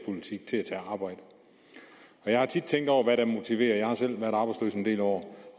arbejde jeg har tit tænkt over hvad der motiverer jeg har selv været arbejdsløs en del år